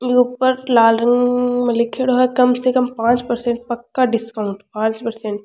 ऊपर लाल रंग में लिख्योड़ो है कम से कम पांच पर्सेंट पक्का डिस्काउंट पांच पर्सेंट ।